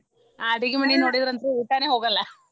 ಅ ಅಡಿಗೆ ಮನೆ ನೊಡಿದ್ರಂತೂ ಊಟನೇ ಹೋಗಲ್ಲ.